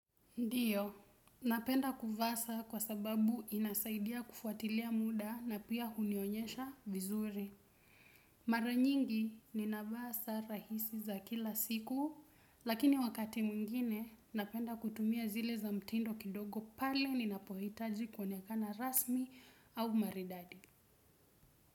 Ndiyo, napenda kuvaa saa kwa sababu inasaidia kufuatilia muda na pia hunionyesha vizuri. Mara nyingi ninavaa saa rahisi za kila siku, lakini wakati mwingine napenda kutumia zile za mtindo kidogo pale ninapohitaji kuonekana rasmi au maridadi.